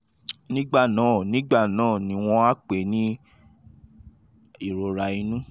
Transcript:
nígbà náà nígbà náà ni wọ́n á wá pè é ní ìrora inú